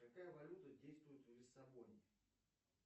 какая валюта действует в лиссабоне